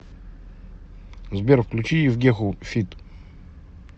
сбер включи евгеху фид